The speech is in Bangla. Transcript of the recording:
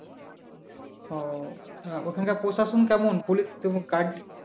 ও তা ওখানকার প্রশাসন কেমন পুলিশ